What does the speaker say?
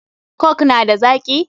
Coke na da zaki?